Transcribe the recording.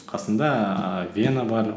қасында ііі вена бар